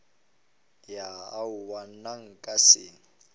ya aowa nna nka se